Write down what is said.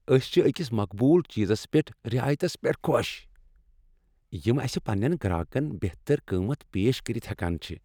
أسۍ چھِ أكِس مقبول چیزس پیٹھ رعایتس پیٹھ خۄش ، یِم اسہِ پنین گراكن بہتر قۭمَتھ پیش كٔرِتھ ہیكان چھِ۔